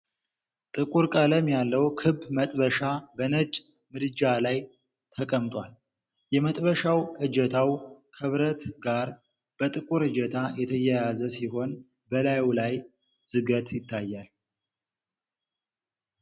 ጥቁር ቀለም ያለው ክብ መጥበሻ በነጭ ምድጃ ላይ ተቀምጧል። የመጥበሻው እጀታው ከብረት ጋር በጥቁር እጀታ የተያያዘ ሲሆን፣ በላዩ ላይ ዝገት ይታያል።